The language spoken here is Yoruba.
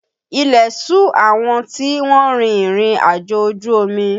Ilẹ̀ ṣù àwọn tí wọ́n rin ìrìnàjò ojú omi